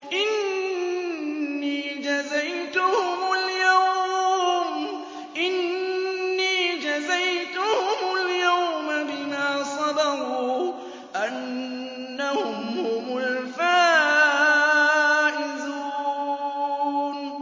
إِنِّي جَزَيْتُهُمُ الْيَوْمَ بِمَا صَبَرُوا أَنَّهُمْ هُمُ الْفَائِزُونَ